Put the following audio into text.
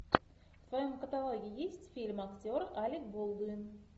в твоем каталоге есть фильм актер алек болдуин